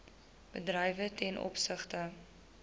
bedrywe ten opsigte